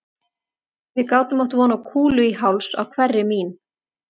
Við gátum átt von á kúlu í háls á hverri mín